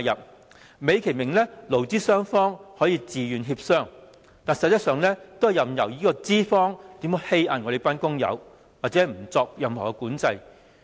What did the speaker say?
這做法美其名是勞資雙方可以自願協商，但實質是任由資方欺壓工友，而不作任何管制。